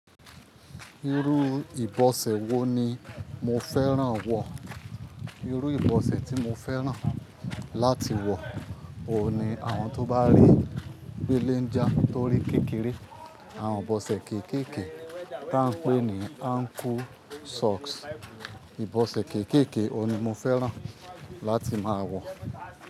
Irú ìbọ̀sẹ̀ wo ni mo fẹ́ràn wọ̀? Irú ìbọ̀sẹ̀ tí mo fẹ́ràn láti wọ̀, òun ni àwọn tó bá rí belenja, torí kékeré. Àwọn ìbọ̀sẹ̀ kéékèèké tí a ń pè ní ankle socks. Ìbọ̀sẹ̀ kéékèèké òun ni mo fẹ́ràn láti máa wọ̀